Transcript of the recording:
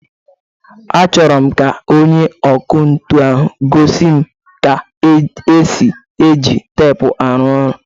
Achọrọ m ka onye ọkụ ntu ahu gosi m ka esi e ji teepu arụ ọrụ.